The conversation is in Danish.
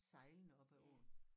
Sejlende op ad åen